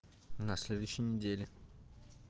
на следующей неделе